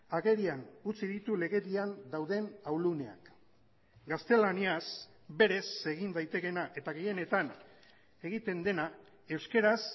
agerian utzi ditu legedian dauden ahuluneak gaztelaniaz berez egin daitekeena eta gehienetan egiten dena euskaraz